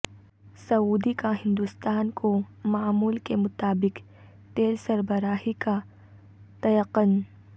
سعودی کا ہندوستان کو معمول کے مطابق تیل سربراہی کا تیقن